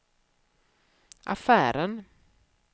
affären